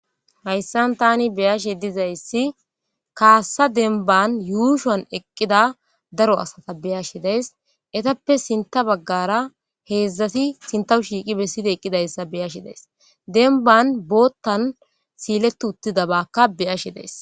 hayssan tani beyashe dizayssi kaassa denban yuushoan eqqida daro asata beyashe days etappe sinta baggara heedzdzati sintawu shiiqi bessida eqqidayssa beyashi days denban boottan siiletu uttida baakka beyashe dees